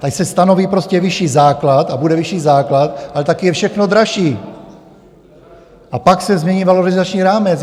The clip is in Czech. Ať se stanoví prostě vyšší základ a bude vyšší základ, ale také je všechno dražší, a pak se změní valorizační rámec.